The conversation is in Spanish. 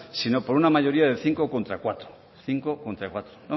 sino por una mayoría de cinco contra cuatro cinco contra cuatro